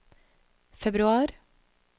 februar